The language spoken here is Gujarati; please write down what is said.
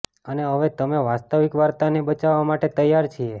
અને હવે અમે વાસ્તવિક વાર્તાને બચાવવા માટે તૈયાર છીએ